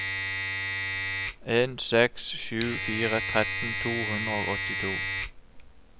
en seks sju fire tretten to hundre og åttito